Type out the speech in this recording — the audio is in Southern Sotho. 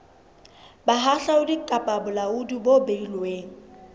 bohahlaudi kapa bolaodi bo beilweng